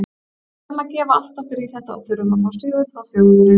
Við verðum að gefa allt okkar í þetta og þurfum að fá sigur frá Þjóðverjum.